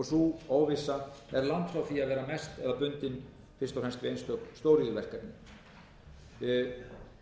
og sú óvissa er langt frá því að vera bundin fyrst og fremst